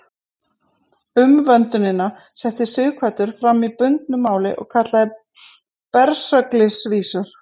Umvöndunina setti Sighvatur fram í bundnu máli og kallaði Bersöglisvísur.